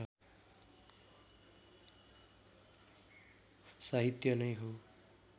साहित्य नै हो